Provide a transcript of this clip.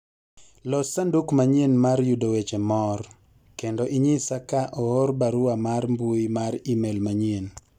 los sanduk manyien mar yudo weche moor kendo inyisa ka oor barua mar mbui mar email manyien